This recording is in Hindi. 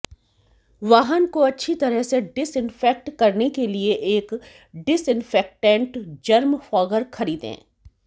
वाहन को अच्छी तरह से डिसइन्फेक्ट करने के लिए एक डिसइन्फेक्टैंट जर्म फॉगर खरीदें